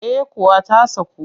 Eh kuwa ta saku